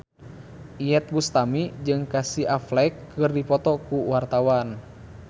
Iyeth Bustami jeung Casey Affleck keur dipoto ku wartawan